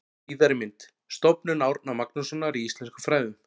Síðari mynd: Stofnun Árna Magnússonar í íslenskum fræðum.